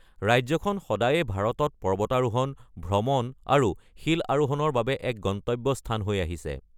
ৰাজ্যখন সদায়ে ভাৰতত পৰ্বতাৰোহণ, ভ্ৰমণ আৰু শিল আৰোহণৰ বাবে এক গন্তব্য স্থান হৈ আহিছে।